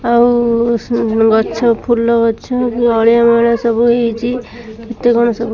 ଆଉ ଗଛ ଫୁଲ ଗଛ ଅଳିଆ ମଲିଆ ସବୁ ହେଇଚି କେତେକଣ ସବୁ --